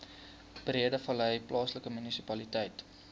breedevallei plaaslike munisipaliteit